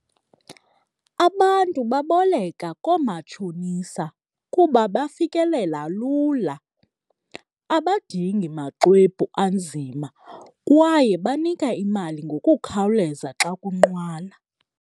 Abantu baboleka koomatshonisa kuba bafikelela lula, abadingi maxwebhu anzima kwaye banika imali ngokukhawuleza xa kunqwala.